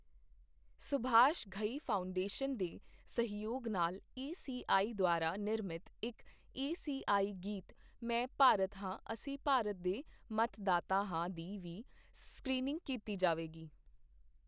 Subhash Ghai foundation ਦੇ ਸਹਿਯੋਗ ਨਾਲ ਈਸੀਆਈ ਦੁਆਰਾ ਨਿਰਮਿਤ ਇੱਕ ਈਸੀਆਈ ਗੀਤ ਮੈਂ ਭਾਰਤ ਹਾਂ ਅਸੀਂ ਭਾਰਤ ਦੇ ਮਤਦਾਤਾ ਹਾਂ ਦੀ ਵੀ ਸਕ੍ਰੀਨਿੰਗ ਕੀਤੀ ਜਾਵੇਗੀ।